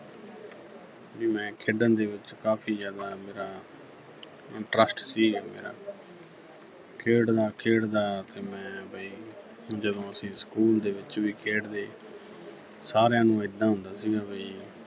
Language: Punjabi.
ਵੀ ਮੈਂ ਖੇਡਣ ਦੇ ਵਿੱਚ ਕਾਫੀ ਜ਼ਿਆਦਾ ਮੇਰਾ interest ਸੀ ਮੇਰਾ। ਖੇਡਦਾ-ਖੇਡਦਾ ਤੇ ਮੈਂ ਬਈ ਜਦੋਂ ਅਸੀਂ school ਦੇ ਵਿੱਚ ਵੀ ਖੇਡਦੇ ਸਾਰਿਆਂ ਨੂੰ ਏਦਾਂ ਹੁੰਦਾ ਸੀਗਾ ਵੀ